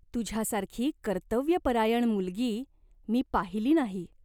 तुझ्यासारखी कर्तव्यपरायण मुलगी मी पाहिली नाही.